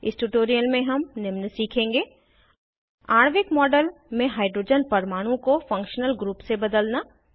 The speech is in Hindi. इस ट्यूटोरियल में हम निम्न सीखेंगे आणविक मॉडल में हाइड्रोजन परमाणु को फंक्शनल ग्रुप से बदलना